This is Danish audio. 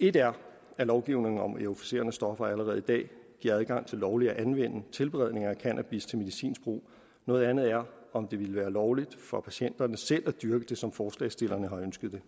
et er at lovgivningen om euforiserende stoffer allerede i dag giver adgang til lovligt at anvende tilberedning af cannabis til medicinsk brug noget andet er om det ville være lovligt for patienterne selv at dyrke det som forslagsstillerne har ønsket det